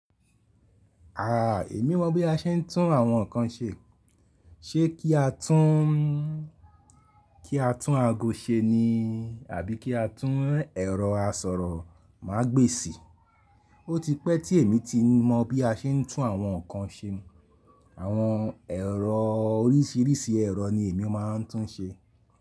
Aà, èmi mọ bí a ṣe ń tún àwọn nkan ṣe. Ṣé kí a tún, kí a tún ago ṣe ni àbí kí a tún ẹ̀rọ asọ̀rọ̀ ma gbé sì? Ó ti pẹ́ tí èmi ti mọ̀ bí a ṣe ń tún àwọn nkan ṣe. Àwọn ẹ̀rọ oríṣìíríṣìí ẹ̀rọ ni èmi máa ń tún ṣe.